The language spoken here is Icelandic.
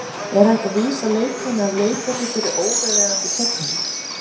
Er hægt að vísa leikmanni af leikvelli fyrir óviðeigandi fögnuð?